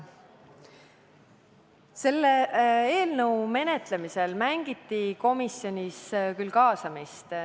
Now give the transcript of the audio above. Selle eelnõu menetlemisel mängiti komisjonis küll kaasamist.